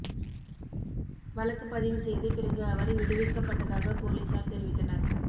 வழக்கு பதிவு செய்து பிறகு அவர் விடுவிக்கப்பட்டதாக போலீசார் தெரிவித்தனர்